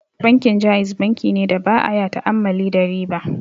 Bankin Ja'iz bankine da baya ta'ammali da riba.